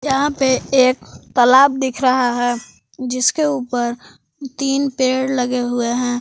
यहा पे एक तलाब दिख रहा है जिसके ऊपर तीन पेड़ लगे हुए है।